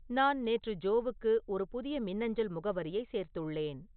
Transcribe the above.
நான் நேற்று ஜோவுக்கு ஒரு புதிய மின்னஞ்சல் முகவரியைச் சேர்த்துள்ளேன்